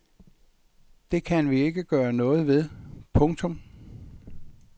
Det kan vi ikke gøre noget ved. punktum